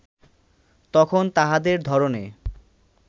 তখন তাহাদের ধরণে